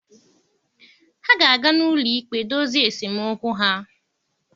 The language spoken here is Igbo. Ha ga-aga n'ụlọ ikpe dozie esemokwu ha.